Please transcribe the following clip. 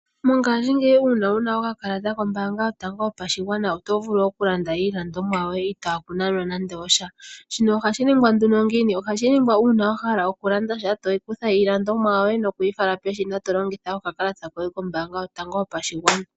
Mongashingeyi uuna wuna okakalata koombanga hotango hopashigwana otovulu okulanda iiilandomwa yoye itaaku nanwa nande osha. Shino ohashi ningwa nduno ngiini? Ohashi ningwa uuna wa hala okulanda sha tokutha iiilandomwa yoye nokuyi fala peshina tolongitha okakalata kohe kombanga yotango yopashigwana.